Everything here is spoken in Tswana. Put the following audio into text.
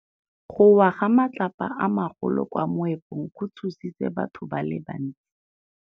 Go wa ga matlapa a magolo ko moepong go tshositse batho ba le bantsi.